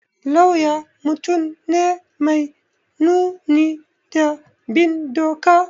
Lauya mutum ne mai nuni da bin doka